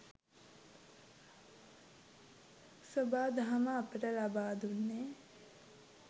සොබා දහම අපට ලබා දුන්නේ